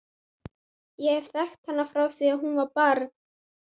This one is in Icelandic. Ég hef þekkt hana frá því að hún var barn.